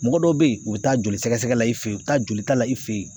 Mɔgɔ dɔ bɛ yen u bɛ taa joli sɛgɛsɛgɛ la i fɛ ye u bɛ taa jolita la i fɛ yen